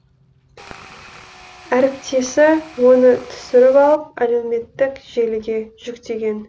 әріптесі оны түсіріп алып әлеуметтік желіге жүктеген